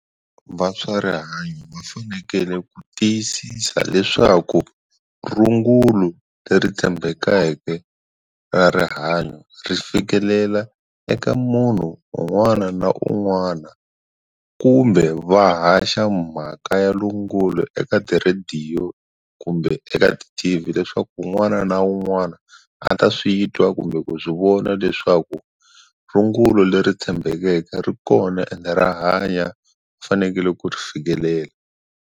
Va swa rihanyo va fanekele ku tiyisisa leswaku rungula ku leri tshembekeke ka rihanyo ri fikelela eka munhu un'wana na un'wana kumbe va haxa mhaka ya rungulo eka ti-radio kumbe eka ti-T_V leswaku un'wana na un'wana a ta switwa kumbe ku swi vona leswaku rungula leri tshembeleke ri kona ende ra hanya u fanekele ku ri fikelela.